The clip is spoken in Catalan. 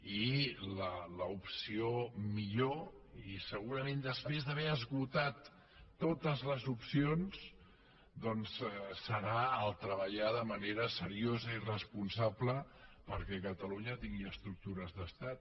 i l’opció millor i segurament després d’haver esgotat totes les opcions serà treballar de manera seriosa i responsable perquè catalunya tingui estructures d’estat